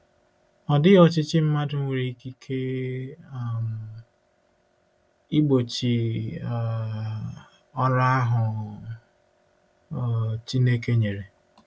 Ọ dịghị ọchịchị mmadụ nwere ikike um igbochi um ọrụ ahụ um Chineke nyere.